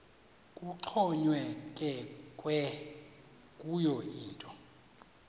kuxhonyekekwe kuyo yinto